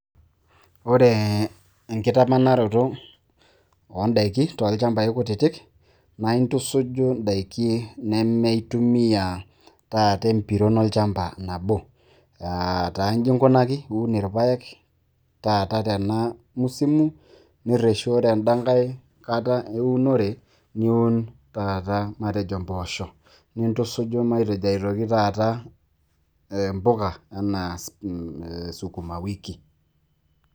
ore enkitamanaroto oodaiki toolchampai kutitik, naa intusuju idaiki nemeitumia, taata empiron olchampa. nabo, aataa iji inkunaki iun irpaek, taata tena musimu, nireshu ore edankae kata eunore, niun taata matejo impoosho, nintusuju matejo aitoki taata impuka anaa sukuma wiki.